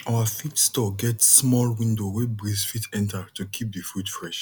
our feed store get small window wey breeze fit enter to keep the food fresh